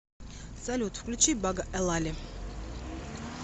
салют включи бага элали